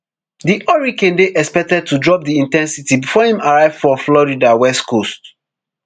di hurricane dey expected to drop di in ten sity before im arrive for florida west coast